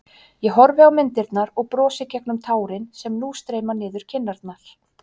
Ég horfi á myndirnar og brosi gegnum tárin sem nú streyma niður kinnarnar.